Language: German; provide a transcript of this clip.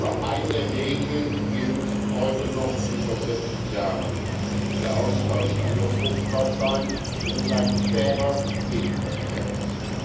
Aber eine Regel gilt heute noch wie vor 40 Jahren Der Austausch kann nur fruchtbar sein, wenn es ein fairer Gegenverkehr ist.